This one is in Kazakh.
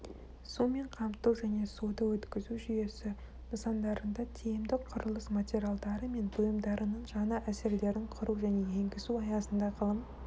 сумен қамту және суды өткізу жүйесі нысандарында тиімді құрылыс материалдары мен бұйымдарының жаңа әсерлерін құру және енгізу аясында ғылым